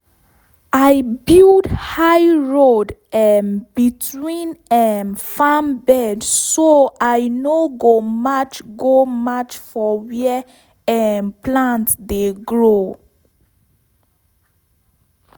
i build high road um between um farm bed so i no go match go match for where um plant dey grow